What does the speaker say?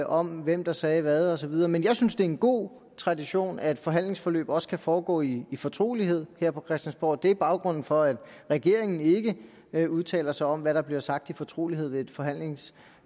om hvem der sagde hvad og så videre men jeg synes det er en god tradition at forhandlingsforløb også kan foregå i i fortrolighed her på christiansborg det er baggrunden for at regeringen ikke ikke udtaler sig om hvad der bliver sagt i fortrolighed ved et forhandlingsbord